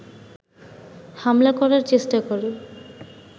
হামলা করার চেষ্টা করে